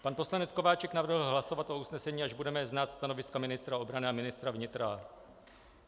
Pan poslanec Kováčik navrhl hlasovat o usnesení, až budeme znát stanoviska ministra obrany a ministra vnitra.